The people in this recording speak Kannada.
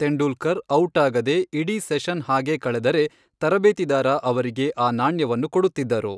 ತೆಂಡೂಲ್ಕರ್ ಔಟಾಗದೆ ಇಡೀ ಸೆಷನ್ ಹಾಗೇ ಕಳೆದರೆ, ತರಬೇತಿದಾರ ಅವರಿಗೆ ಆ ನಾಣ್ಯವನ್ನು ಕೊಡುತ್ತಿದ್ದರು.